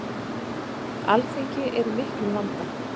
Alþingi er í miklum vanda.